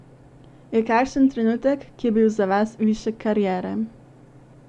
Je kakšen trenutek, ki je bil za vas višek kariere?